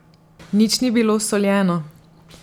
Nič ni bilo soljeno.